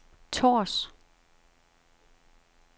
Tårs